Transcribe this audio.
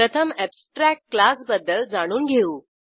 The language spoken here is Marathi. प्रथम अॅबस्ट्रॅक्ट क्लासबद्दल जाणून घेऊ